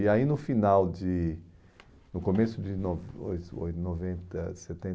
E aí no final de, no começo de noven oi oi noventa